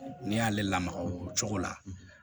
Ne y'ale lamaga o cogo la